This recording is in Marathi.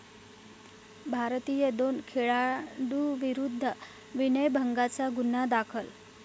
भारतीय दोन खेळाडूंविरुद्ध विनयभंगाचा गुन्हा दाखल